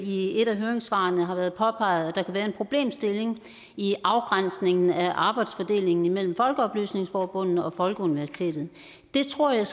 i et af høringssvarene har været påpeget at der kan være en problemstilling i afgrænsningen af arbejdsfordelingen imellem folkeoplysningsforbundene og folkeuniversitetet det tror jeg